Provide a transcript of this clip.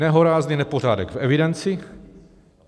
Nehorázný nepořádek v evidenci!